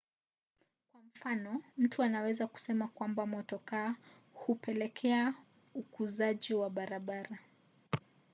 kwa mfano mtu anaweza kusema kwamba motokaa hupelekea ukuzaji wa barabara